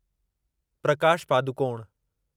Prakash Padukone